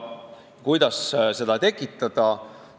Kuidas sellist soovi inimestes tekitada?